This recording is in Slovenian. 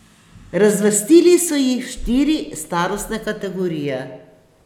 Razvrstili so jih v štiri starostne kategorije.